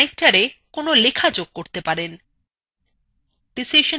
আপনি connectora কোন লেখা যোগ করতে পারেন